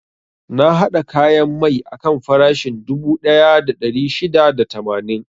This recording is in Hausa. Na haɗa kayan mai akan farashin dubu ɗaya da ɗari shida da tamanin.